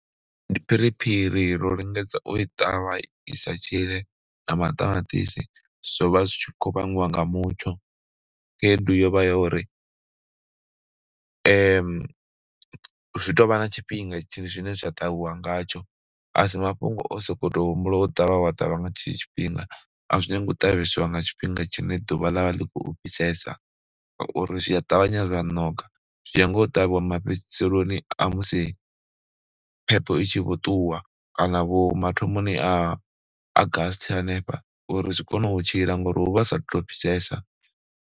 Ndi phiriphiri, ro lingedza u i ṱavha i sa tshile na maṱamaṱisi, zwo vha zwi tshi khou vhangiwa nga mutsho. Khaedu yo vha yo uri, zwi tou vha na tshifhinga zwine zwa ṱavhiwa ngatsho a si mafhungo o sokou tou humbula wo ṱavha wa ṱavha nga tshetsho tshifhinga, a zwi nyangi u ṱavheswa nga tshifhinga tshine ḓuvha ḽa vha ḽi khou fhisesa ngauri zwi a ṱavhanya dza ṋoka. Zwi nyaga u ṱavhiwa mafhedziseloni a musi phepho i tshi vho ṱuwa kana vho mathomoni a Augusr hanefha uri zwi kone u tshila ngori hu vha hu saatu tou fhisesa.